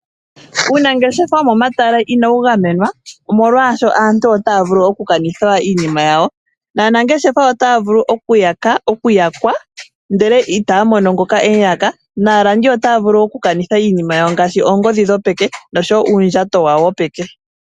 Uunangeshefa womo matala inawu gamenwa nomolwashoka aantu otaya vulu oku kanitha iinima yawo. Aanangeshefa otaya vulu okuyakwa, ndele itya mono ngoka e mu yaka naalandi otaya vulu oku kanitha iinima yawo ngaashi oongodhi dhopeke noshowo uundjato wawo wopeke.